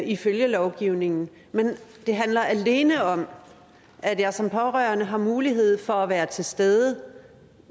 ifølge lovgivningen det handler alene om at jeg som pårørende har mulighed for at være til stede